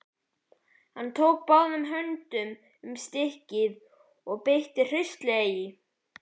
Hann tók báðum höndum um stykkið og beit hraustlega í.